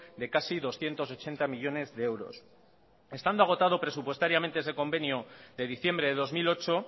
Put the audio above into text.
de casi doscientos ochenta millónes de euros estando agotado presupuestariamente ese convenio de diciembre de dos mil ocho